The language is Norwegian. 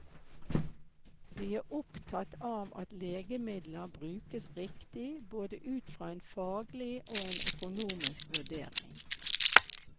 De er opptatt av at legemidler brukes riktig både ut fra en faglig og en økonomisk vurdering.